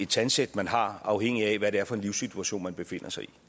tandsæt man har afhængigt af hvad det er for en livssituation man befinder sig i